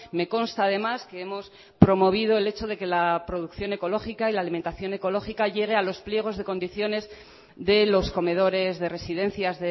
me consta además que hemos promovido el hecho de que la producción ecológica y la alimentación ecológica llegue a los pliegos de condiciones de los comedores de residencias